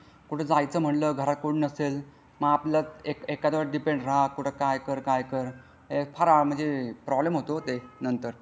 कुठे जायचं म्हटलं घरात कोणी नसते मग आपलं एखाद्यवर डिपेंड राह कुठे काय काय कर काय कर फार प्रॉब्लेम होतो ते नंतर.